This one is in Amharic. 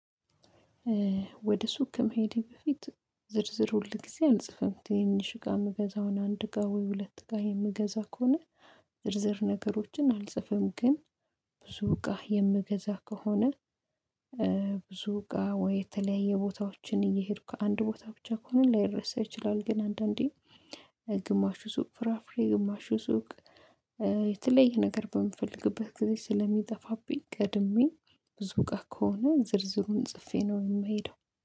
ወደ ሱቅ ከመሄዴ በፊት ዝርዝር ሁል ጊዜ አንጽፍም ትንሽ ጋር የምገዛውን አንድ ጋር ወይ ሁለት ጋር የምገዛ ከሆነ ዝርዝር ነገሮችን አልጽፍም ግን ብዙ ጋር የምገዛ ከሆነ። ብዙ ጋር ወይ የተለያየ ቦታዎችን እየሄዱ ከአንድ ቦታ ብቻ ከሆነ ላይረሳ ይችላል። ግን አንዳንዴ ግማሹ ሱቅ ፍራፍሬ ግማሹ ሱቅ። የተለየ ነገር በምፈልግበት ጊዜ ስለሚጠፋብኝ ቀድሜ ብዙ ጋር ከሆነ ዝርዝሩን ጽፌ ነው የማይሄደው